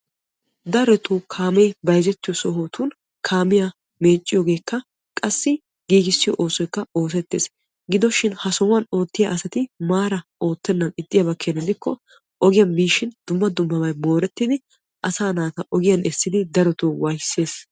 Darotoo kaamee bayzettiyoo sohotun kamiyaa bayzziyoogekka qassi giigissiyoo oosoyikka oosettees. gidoshin ha sohuwaan oottiyaa asati maara oottenan ixxiyaaba keena gidikko ogiyaan biishin dumma dummabay moorettidi asaa naata ogiyaan essidi darotoo waayissees.